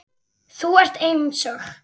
Þú ert eins og